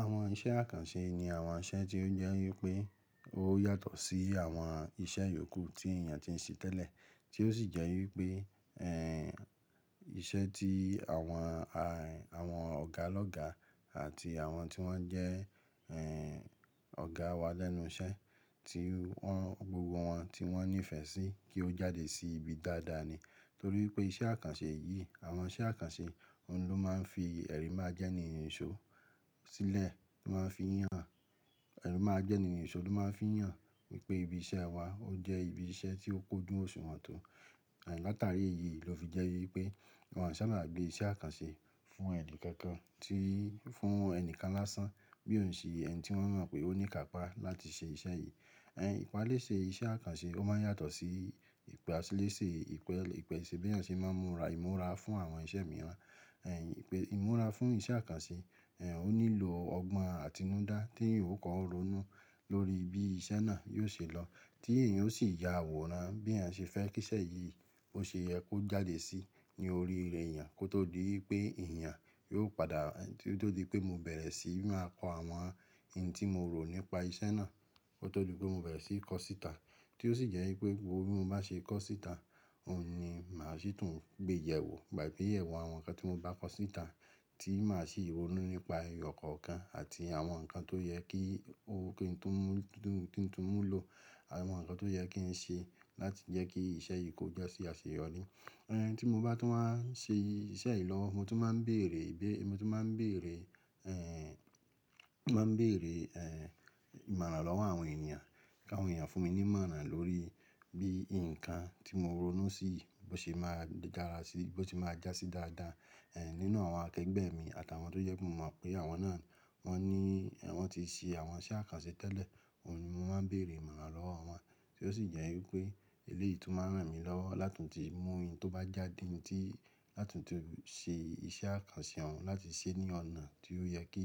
Àwọn iṣẹ́ àkànṣe ni àwọn iṣẹ́ tí ó jẹ́ wípé ó yàtọ̀ sí àwọn iṣẹ́ yòókù tí èyàn tí ń ṣe tẹ́lẹ̀, tí ó sì jẹ́ wípé, ẹ́, iṣẹ́ tí àwọn, a, àwọn ọ̀gá lọ́gá àti àwọn tí wọ́n jẹ́, ẹ́ ọ̀gá wa lẹ́nu iṣẹ́ tí wọ́n gbogbo wọn tí wọ́n nífẹ̀ẹ́ sí kí ó jáde sí ibi dáadáa ni. Nítorí pé iṣẹ́ àkànṣe yìí, àwọn iṣẹ́ àkànṣe, òun ló máa ń fi ẹ̀rì mà jẹ́ni ìṣó sílẹ̀ ló máa ń fi yàn, ẹ̀rì mà jẹ́ni ìṣó ló máa ń fi yàn wípé ibi iṣẹ́ wa ó jẹ́ ibi iṣẹ́ tí ó kóju òṣùwọ̀n tó. A, lát'àrí eyìí ló fi jẹ́ wípé wọn ṣáabà gbé iṣẹ́ àkànṣe fún ẹ̀ni kankan, tií, fún ẹnìkan lásán bí ò ṣe ẹni tí wọ́n mọ̀ pé ó ní ikàpá láti ṣe iṣẹ́ yìí. Ẹ, ìpalẹ́ṣe iṣẹ́ àkànṣe ó máa ń yàtọ̀ sí ìpalẹ́ṣe ìpẹ ìpẹ̀ṣẹ̀ bí èyàn ṣe máa ń múra, ìmúra fún àwọn iṣẹ́ mìíràn. Ẹ, ìpè ìmúra fún iṣẹ́ àkànṣe, en, ó nílò ọgbọ́n àtinúdá t'eyan o kọ́ ọ́ ronú lórí bí iṣẹ́ náà yóò ṣe lọ tí èyan ó sì y'àwòrán bí èyàn ṣe fẹ́ kí iṣẹ́ yìí ó ṣe yẹ kó jáde sí ní oríire èyàn kó tó di í pé èyàn yóò pada, tó tó di pé mo bẹ̀rẹ̀ sí máa kọ àwọn n tí mo rò nípa iṣẹ́ náà, kó tó di pé mo bẹ̀rẹ̀ sí í kọ síta. Tí ó sì jẹ́ i pé gbogbo bi mo bá ṣe é kọ́ síta òun ni màá sì tún gbé yẹ̀wò, gbàgbé ìyẹ̀wò àwọn nǹkan tí mo bá kọ síta tí màá sì ronú nípa ẹyọ kọ̀ọ̀kan àti àwọn nǹkan tó yẹ kí, ó, kí n tó mú, ki n tu mú lò àwọn nǹkan tó yẹ kí ń ṣe láti jẹ́ kí iṣẹ́ yìí kó jásí àṣeyọrí. Uhn, tí mo bá tún wá n ṣẹ iṣẹ́ yìí lọwo, mo tún máa ń bèèrè ìbére, mo tún máa ń bèèrè ẹ́, mó máa ń bèèrè ẹ́ ìmọ̀ràn lọ́wọ́ àwọn ènìyàn kí àwọn ènìyàn fún mi ní ìmọ̀ràn lórí bí nǹkan tí mo ronú sí bó ṣe máa dára sí, bó ṣe máa já sí dáadáa. Ẹ nínú àwọn akẹgbẹ́ mi àtàwọn tó jẹ́ pe mo mọ̀ pé awọn náà wọ́n ní, ẹ, wọ́n ti ṣe àwọn iṣẹ́ àkànṣe tẹ́lẹ̀ òun ni mo máa ń bèèrè ìmọ̀ràn lọ́wọ́ wọn. Tí ó sì jẹ́ wípé eléyìí tún máa rán mi lọ́wọ́ látun ti mú ohun tó ba jáde n tí láti tun ṣe iṣẹ́ àkànṣe òun láti ṣe é ní ọ̀nà tí ó yẹ kí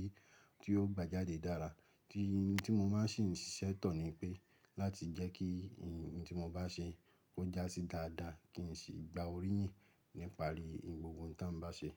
tí ó gba jáde dára. Tí, tí mo máa sì n ṣise to ni pé láti jẹ́ kí ohun tí mo bá ṣe kó já sí dáadáa kí n sì gba oríyìn níparí gbogbo oun to bá ṣe.